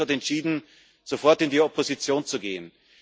Martin Schulz hat entschieden, sofort in die Opposition zu gehen.